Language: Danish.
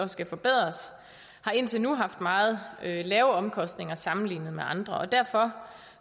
skal forbedres har indtil nu haft meget lave omkostninger sammenlignet med andre derfor